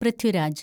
Prithviraj